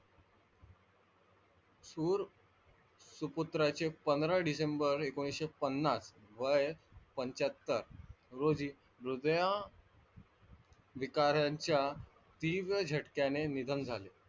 शूर सुपुत्राचे पंधरा डिसेंबर एकोणवीसशे पन्नास वय पंच्याहत्तर रोजी हृदया विकाराच्या तीव्र झटक्याने निधन झाले.